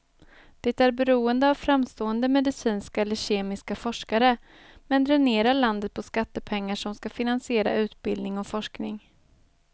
Det är beroende av framstående medicinska eller kemiska forskare, men dränerar landet på skattepengar som ska finansiera utbildning och forskning.